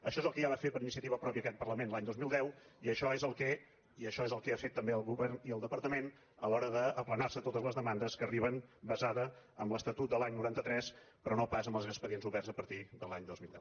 això és el que ja va fer per iniciativa pròpia aquest parlament l’any dos mil deu i això és el que han fet també el govern i el departament a l’hora d’aplanar se totes les demandes que arriben basades en l’estatut de l’any noranta tres però no pas amb els expedients oberts a partir de l’any dos mil deu